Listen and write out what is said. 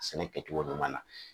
Sɛnɛ kɛcogo ɲuman na